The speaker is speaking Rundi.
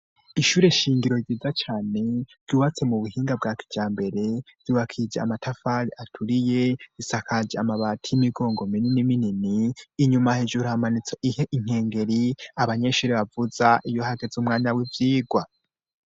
Ishure shingiro ryiza cane, ryubatse mu buhinga bwa kijambere, ryubakishije amatafari aturiye, isakaje amabati y'imigongo minini minini, inyuma hejura hamanitse inkengeri abanyeshuri bavuza iyo hageze umwanya w'ivyigwa.